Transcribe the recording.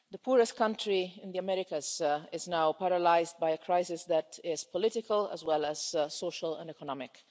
The poorest country in the Americas is now paralysed by a crisis that is political as well as social and economic.